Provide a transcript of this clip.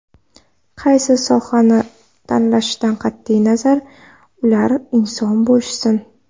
Qaysi sohani tanlashidan qat’iy nazar, ular inson bo‘lishsin.